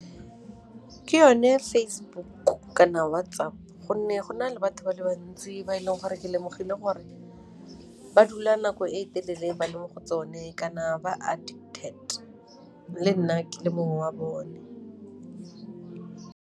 Ke yone Facebook kana WhatsApp gonne go na le batho ba le bantsi ba e leng gore ke lemogile gore ba dula nako e telele ba le mo go tsone kana ba addicted le nna ke le mongwe wa bone.